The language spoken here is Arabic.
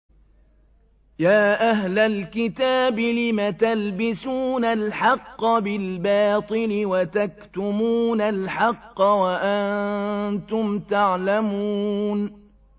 يَا أَهْلَ الْكِتَابِ لِمَ تَلْبِسُونَ الْحَقَّ بِالْبَاطِلِ وَتَكْتُمُونَ الْحَقَّ وَأَنتُمْ تَعْلَمُونَ